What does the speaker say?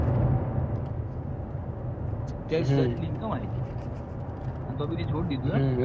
સત્તાવીસ હજાર જેટલી income આયી તી તો બી તેં છોડી દીધું એમ